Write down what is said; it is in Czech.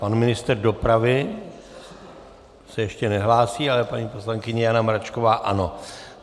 Pan ministr dopravy se ještě nehlásí, ale paní poslankyně Jana Mračková ano.